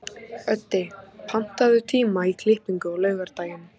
Öddi, pantaðu tíma í klippingu á laugardaginn.